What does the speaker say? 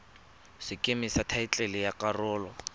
sekeme sa thaetlele ya karolo